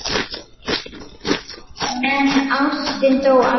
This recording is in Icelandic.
En ástin dó aldrei.